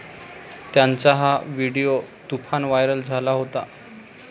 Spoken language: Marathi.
त्यांचा हा व्हिडीओ तुफान व्हायरल झाला होता.